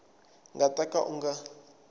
nga ta ka u nga